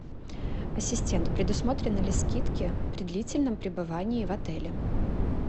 ассистент предусмотрены ли скидки при длительном пребывании в отеле